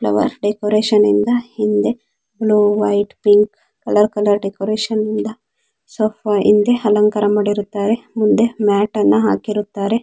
Flower decoration ಇಂದ ಹಿಂದೆ blue white pink colour colour decoration ನಿಂದ ಹಿಂದೆ ಅಲಂಕಾರ ಮಾಡಿರುತ್ತಾರೆ ಮುಂದೆ ಮತ್ ಅನ್ನ ಹಾಕಿರುತ್ತಾರೆ .